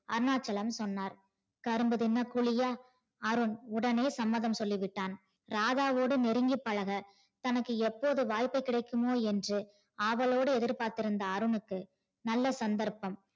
அருணாச்சலம் சொன்னார் கரும்பு தின்ன கூலியா அருண் உடனே சம்மதம் சொல்லிட்டான் ராதாவோட நெருங்கி பழக தனக்கு எப்போது வாய்ப்பு கிடைக்குமோ என்று ஆவலோடு எதிர் பார்த்து கொண்டிருந்த அருணுக்கு நல்ல சந்தர்ப்பம்